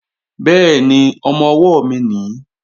Bẹ́ẹ̀ni, ọmọ-ọwọ́ mi nìí